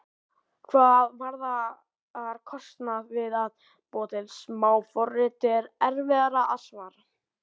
Hvað varðar kostnað við að búa til smáforrit er erfiðara að svara.